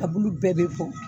Kabulu bɛɛ bɛ bɔn.